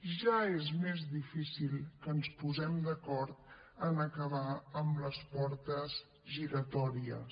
ja és més difícil que ens posem d’acord en acabar amb les portes giratòries